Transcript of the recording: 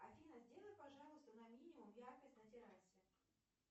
афина сделай пожалуйста на минимум яркость на террасе